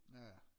Ja ja